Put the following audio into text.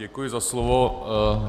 Děkuji za slovo.